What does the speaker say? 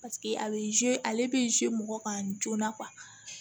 Paseke a bɛ ale bɛ mɔgɔ kan joona